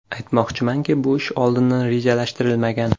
Aytmoqchimanki, bu ish oldindan rejalashtirilmagan.